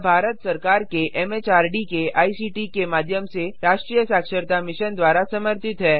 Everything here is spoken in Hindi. यह भारत सरकार के एमएचआरडी के आईसीटी के माध्यम से राष्ट्रीय साक्षरता मिशन द्वारा समर्थित है